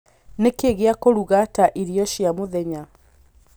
nikĩĩ gĩa kũruga ta irio cia mũthenya